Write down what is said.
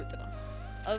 að